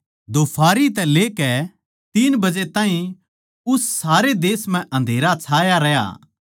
दोफारी तै लेकै तीन बजे ताहीं उस सारे देश म्ह अँधेरा छाया रहया